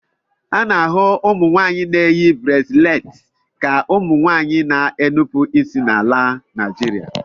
A na-ahụ ụmụnwaanyị na-eyi brasịleti ka ụmụ nwanyị na-enupụ isi na ala Naịjirịa.